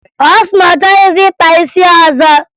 Ọ sị na ọ chọghịzị ịkpa isi ọzọ